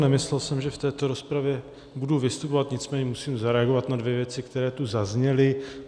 Nemyslel jsem, že v této rozpravě budu vystupovat, nicméně musím zareagovat na dvě věci, které tu zazněly.